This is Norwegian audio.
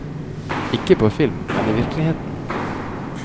Ikke på film, men i virkeligheten.